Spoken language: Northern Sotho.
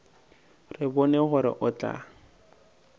re bone gore o tla